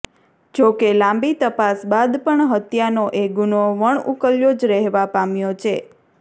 જોકે લાંબી તપાસ બાદ પણ હત્યાનો એ ગુનો વણઉકલ્યો જ રહેવા પામ્યો છે